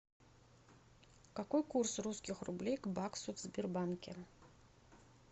какой курс русских рублей к баксу в сбербанке